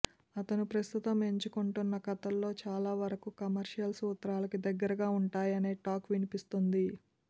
అతను ప్రస్తుతం ఎంచుకుంటోన్న కథల్లో చాలా వరకు కమర్షియల్ సూత్రాలకి దగ్గరగా వుంటున్నాయనే టాక్ వినిపిస్తోంది